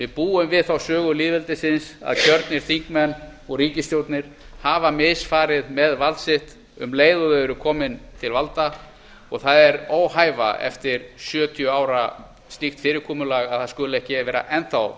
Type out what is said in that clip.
búum við þá sögu lýðveldisins að kjörnir þingmenn og ríkisstjórnir hafa misfarið með vald sitt um leið og þau eru komin til valda og það er óhæfa eftir sjötíu ára slíkt fyrirkomulag að það skuli ekki enn vera